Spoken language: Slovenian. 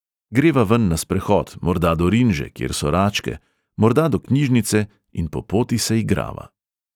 Greva ven na sprehod, morda do rinže, kjer so račke, morda do knjižnice in po poti se igrava.